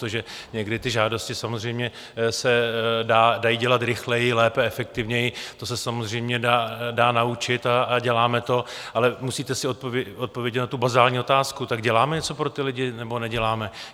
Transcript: To, že někdy ty žádosti samozřejmě se dají dělat rychleji, lépe, efektivněji, to se samozřejmě dá naučit a děláme to, ale musíte si odpovědět na tu bazální otázku: Tak děláme něco pro ty lidi, nebo neděláme?